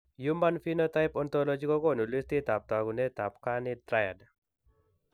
Human phenotype ontology kokoonu listiitab taakunetaab carney triad